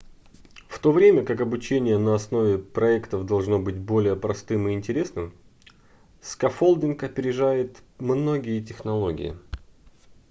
в то время как обучение на основе проектов должно быть более простым и интересным скаффолдинг опережает многие технологии